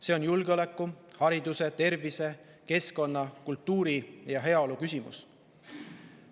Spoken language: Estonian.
See on julgeoleku, hariduse, tervise, keskkonna, kultuuri ja heaolu küsimus.